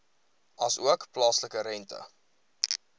asook plaaslike rente